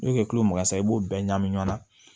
N'o ye kilo mugan san i b'o bɛɛ ɲagamin ɲɔgɔn na